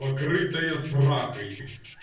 покрытая сракой